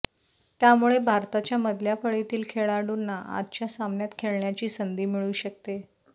त्यामुळे भारताच्या मधल्या फळीतील खेळाडुंना आजच्या सामन्यात खेळण्याची संधी मिळू शकते